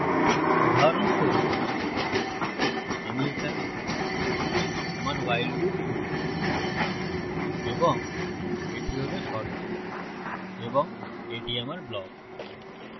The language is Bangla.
উদাহরণস্বরূপ আমি এখানে আমার while loop শুরু করব এবং এটি হল শর্ত এবং এটি আমার block